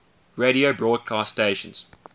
radio broadcast stations